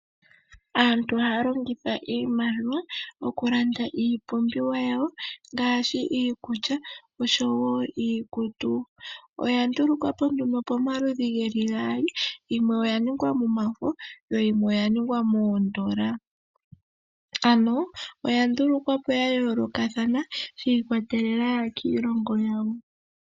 Aantu ohaya longitha iimaliwa okulanda iipumbiwa yawo ngaashi iikulya oshowo iikutu. Oya ndulukwa po nduno pamaludhi geli gaali, yimwe oya ningwa momafo yo yimwe oya ningwa moondola. Ano oya ndulukwa po sha yoolokathana sha ikwatelela kiilongo yawo.